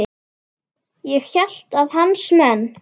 Ég hélt að hans menn.